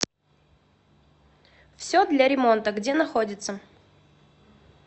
все для ремонта где находится